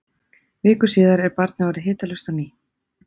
viku síðar er barnið orðið hitalaust á ný